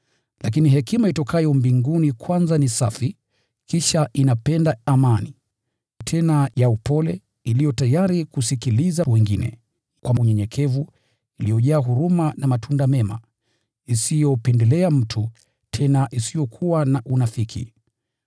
Lakini hekima itokayo mbinguni kwanza ni safi, kisha inapenda amani, tena ni ya upole, iliyo tayari kusikiliza wengine kwa unyenyekevu, iliyojaa huruma na matunda mema, isiyopendelea mtu, tena isiyokuwa na unafiki.